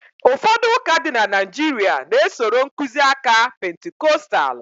ụfọdụ ụka dị na Naijiria na- esoro nkuzi aka Pentikọstal